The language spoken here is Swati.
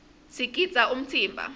sigidza umtsimba